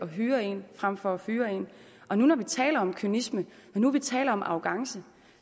hyre en frem for at fyre en når nu vi taler om kynisme når nu vil taler om arrogance